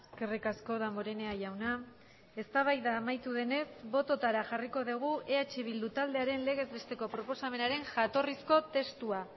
eskerrik asko damborenea jauna eztabaida amaitu denez bototara jarriko dugu eh bildu taldearen legez besteko proposamenaren jatorrizko testua